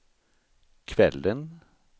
kvällen